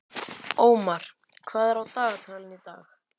Ómar, hvað er á dagatalinu í dag?